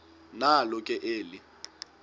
nalo ke eli